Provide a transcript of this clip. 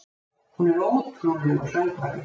Hún er ótrúlegur söngvari.